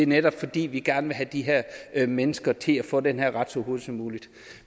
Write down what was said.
netop fordi vi gerne vil have de her her mennesker til at få den her ret så hurtigt som muligt